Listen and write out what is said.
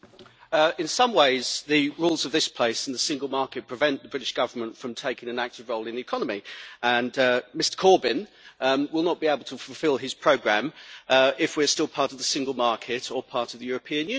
In some ways the rules of this place and the single market prevent the British Government from taking an active role in the economy, and Mr Corbyn will not be able to fulfil his programme if we are still part of the single market or part of the European Union.